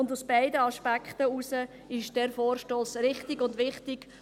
Aus beiden Aspekten heraus ist dieser Vorstoss richtig und wichtig.